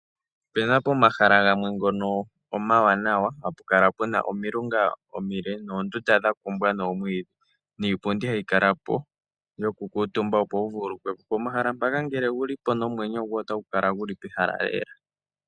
Opuna pomahala gamwe ngono omawanawa, hapu kala pu na omilunga omile noondunda dha kumbwa noomwiidhi niipundi hayi kala po yo ku kuutumba opo wu vululukwe po. Pomahala ngaka ngele owu li po omwenyo gwoye otagu kala gu li pehala.